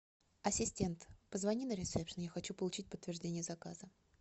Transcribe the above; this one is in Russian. ассистент позвони на ресепшн я хочу получить подтверждение заказа